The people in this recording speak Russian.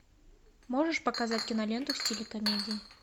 можешь показать киноленту в стиле комедии